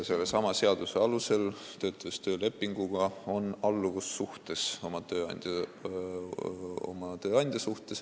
Seaduse alusel on töölepinguga töötades tööandja ja töötaja vahel alluvussuhe.